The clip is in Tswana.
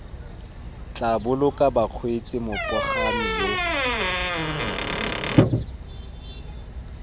tla boloka bakgweetsi mopagami yo